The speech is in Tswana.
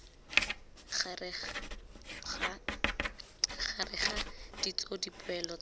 gareg ga ditso dipoelo tsa